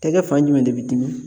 Tɛgɛ fan jumɛn de bi dimi?